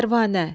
Pərvanə.